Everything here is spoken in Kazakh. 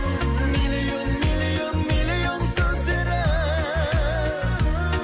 миллион миллион миллион сөздері